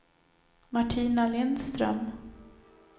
Martina Lindström